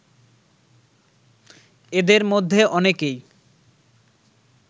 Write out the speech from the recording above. এদের মধ্যে অনেকেই